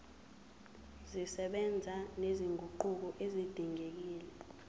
zisebenza nezinguquko ezidingekile